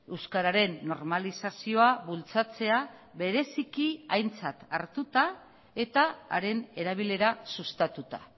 euskararen normalizazioa bultzatzea bereziki aintzat hartuta eta haren erabilera sustatuta